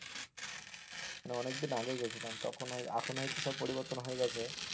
মানে অনেকদিন আগে গিয়েছিলাম তখন, এখন হয়তো সব পরিবর্তন হয়ে গিয়েছে।